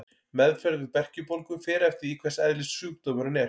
Meðferð við berkjubólgu fer eftir því hvers eðlis sjúkdómurinn er.